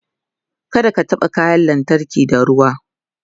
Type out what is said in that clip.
kada ka taɓa kayan lantarki da ruwa